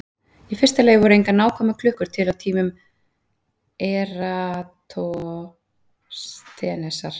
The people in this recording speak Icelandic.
í fyrsta lagi voru engar nákvæmar klukkur til á tímum eratosþenesar